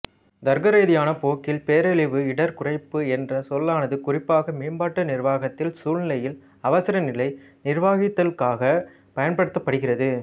தர்க்கரீதியான போக்கில் பேரழிவு இடர் குறைப்பு என்ற சொல்லானது குறிப்பாக மேம்பாட்டு நிர்வகித்தல் சூழ்நிலையில் அவசரநிலை நிர்வகித்தலுக்காகப் பயன்படுத்தப்படுகிறது